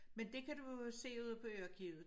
Men det kan du jo se ude på Ø arkivet